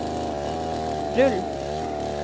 rull